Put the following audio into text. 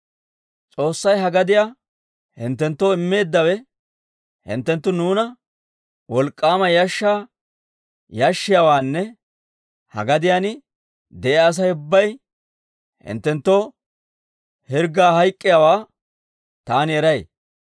«S'oossay ha gadiyaa hinttenttoo immeeddawe, hinttenttu nuuna wolk'k'aama yashshaa yashshiyaawaanne ha gadiyaan de'iyaa Asay ubbay hinttenttoo hirggaa hayk'k'iyaawaa taani eray.